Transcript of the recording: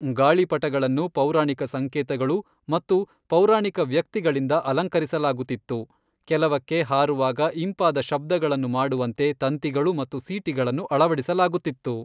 ಗಾಳಿಪಟಗಳನ್ನು ಪೌರಾಣಿಕ ಸಂಕೇತಗಳು ಮತ್ತು ಪೌರಾಣಿಕ ವ್ಯಕ್ತಿಗಳಿಂದ ಅಲಂಕರಿಸಲಾಗುತ್ತಿತ್ತು, ಕೆಲವಕ್ಕೆ ಹಾರುವಾಗ ಇಂಪಾದ ಶಬ್ದಗಳನ್ನು ಮಾಡುವಂತೆ ತಂತಿಗಳು ಮತ್ತು ಸೀಟಿಗಳನ್ನು ಅಳವಡಿಸಲಾಗುತ್ತಿತ್ತು.